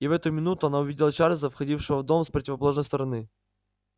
и в эту минуту она увидела чарлза входившего в дом с противоположной стороны